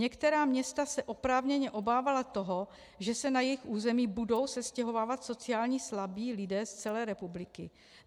Některá města se oprávněně obávala toho, že se na jejich území budou sestěhovávat sociálně slabí lidé z celé republiky.